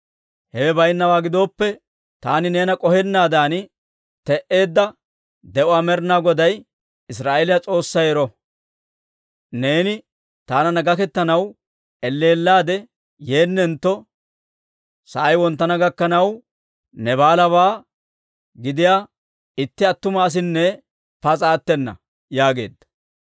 Hewe bayinnawaa gidooppe, taani neena k'ohennaadan te'eedda de'uwaa Med'inaa Goday, Israa'eeliyaa S'oossay ero! Neeni taananna gaketanaw elleellaade yeennentto, sa'ay wonttana gakkanaw, Naabaalabaa gidiyaa itti attuma asinne pas'a attena» yaageedda.